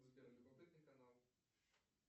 сбер любопытный канал